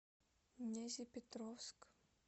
нязепетровск